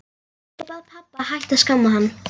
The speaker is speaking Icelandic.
Ég bað pabba að hætta að skamma hann.